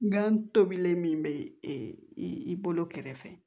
Gan tobilen min bɛ e bolo kɛrɛfɛ